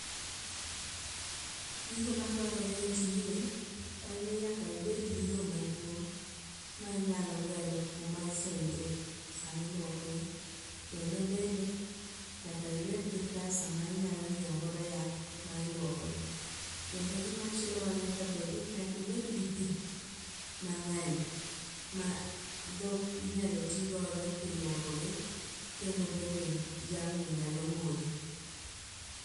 Gigo madwarore e tijni en ni nyaka ibedgi lo maduong' ma inyalo gero kuma isoye dhok samiluokogi kendo bende nyaka ibedgi pesa ma inyalo nyieogodo yath ma ilwokogi. Kendo gimachielo manyakabed, nyaka ibedgi pi mang'eny ma dhok inyalo tigodo kilwokogi kendo bende jamni nyalo modho.